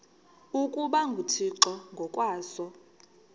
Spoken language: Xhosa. ukuba nguthixo ngokwaso